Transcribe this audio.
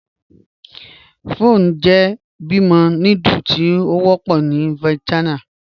Pho jẹ́ bímo núdúlù tí o wọpọ̀ ni Vietnam.